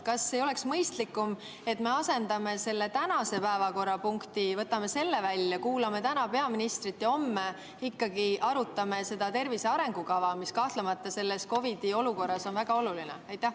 Kas ei oleks mõistlikum, kui me asendaksime selle tänase päevakorrapunkti, võtaksime selle välja, kuulaksime täna peaministrit ja homme arutaksime ikkagi tervise arengukava, mis kahtlemata selles COVID‑i olukorras on väga oluline?